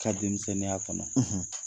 ka denmisɛnninya kɔnɔ.